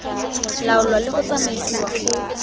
laolwa le go tsamaisiwa go